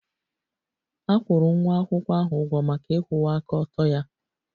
A kwụrụ nwa akwụkwọ ahụ ụgwọ maka ịkwụwa aka ọtọ ya